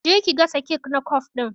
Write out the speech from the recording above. Je ki gasa kek na kwaf din!